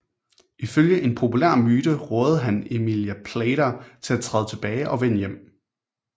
Ifølge en populær myte rådede han Emilia Plater til at træde tilbage og vende hjem